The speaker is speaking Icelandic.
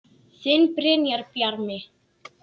Þinn Brynjar Bjarmi.